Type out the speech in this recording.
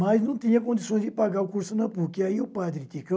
Mas não tinha condições de pagar o curso na PUC, e aí o Padre Ticão,